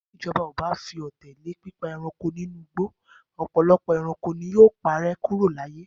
Bí ìjọba kò bá fi òté lé pípa ẹranko inú igbó, ọ̀pọ̀lọpọ̀ ẹranko ni yóò parẹ́ kúrò láyé